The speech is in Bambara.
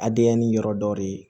Adiya ni yɔrɔ dɔ de ye